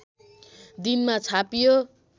दिनमा छापियो